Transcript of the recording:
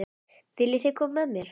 Viljiði koma með mér?